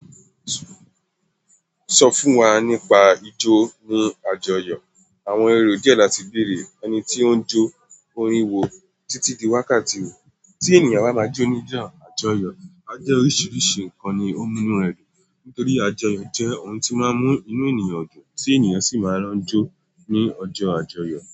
Sọ fún wa nípa ijó ní àjọyọ̀. Àwọn èrò díẹ̀ láti bèrè, ẹni tí ó ń jó orin wo títí di wákàtí? Tí ènìyàn bá máa jó ní ijọ́ àjọyọ̀, a jẹ́ oríṣiríṣi nǹkan ni ó mú inú ẹ dùn. Nítorí àjọyọ̀ je ohùn ti o máa mú inú ènìyàn dùn ti ènìyàn sì máa n jo ni ọjọ àjọyọ̀.